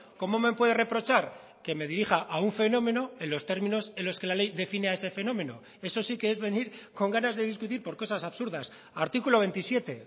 cómo me puede reprochar que me dirija a un fenómeno en los términos en los que la ley define a ese fenómeno eso sí que es venir con ganas de discutir por cosas absurdas artículo veintisiete